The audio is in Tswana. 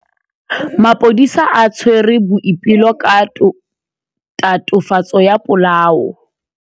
Maphodisa a tshwere Boipelo ka tatofatsô ya polaô.